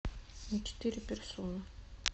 на четыре персоны